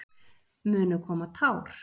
Munu koma tár?